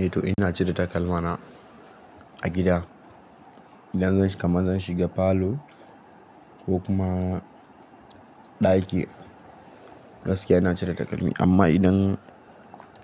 Eh to ina cire takalma na a gida. Idan zan shiga, kaman zan shiga falo ko kuma ɗaki gaskiya ina cire takalmi. Amma idan